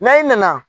N'a i nana